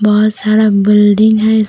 बहुत सारा बिल्डिंग है।